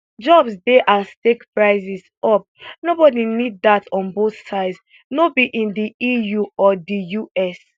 jobs dey at stake prices up nobody need dat on both sides no be in di eu or di us